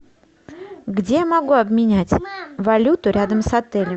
где могу обменять валюту рядом с отелем